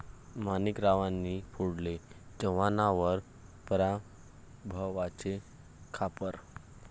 माणिकरावांनी फोडले चव्हाणांवर पराभवाचे खापर